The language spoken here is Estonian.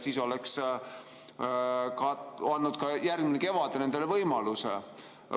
Siis oleks ka nendel olnud järgmisel kevadel võimalus.